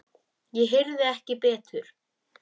Ég heyrði ekki betur.